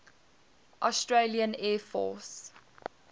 australian air force